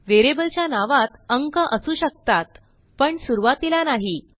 व्हेरिएबलच्या नावात अंक असू शकतात पण सुरूवातीला नाही